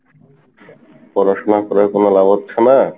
পড়াশোনা করেও কোনো লাভ হচ্ছে না,